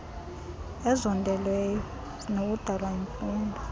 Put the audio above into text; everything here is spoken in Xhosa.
ezondeleyo zinokudalwa yimfuzo